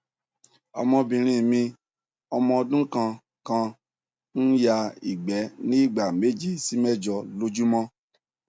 ọmọbìnrin mi ọmọ ọdún kan kan ń ya igbe ní ìgbà méje sí mẹjọ lójúmọ